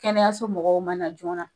Kɛnɛya so mɔgɔw ma na joona